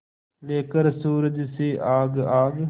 लेकर सूरज से आग आग